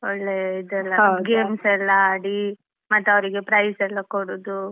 ಒಳ್ಳೇ games ಎಲ್ಲಾ ಆಡಿ ಮತ್ತೆ ಅವ್ರಿಗೆಲ್ಲಾ prize ಯೆಲ್ಲಾ ಕೊಡುದು .